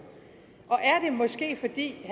er det